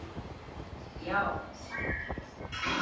Ég segi já!